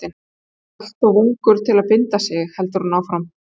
Maður er alltof ungur til að binda sig, heldur hún áfram.